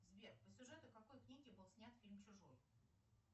сбер по сюжету какой книги был снят фильм чужой